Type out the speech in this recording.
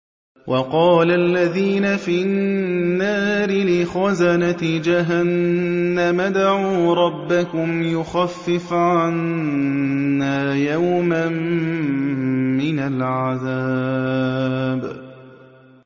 وَقَالَ الَّذِينَ فِي النَّارِ لِخَزَنَةِ جَهَنَّمَ ادْعُوا رَبَّكُمْ يُخَفِّفْ عَنَّا يَوْمًا مِّنَ الْعَذَابِ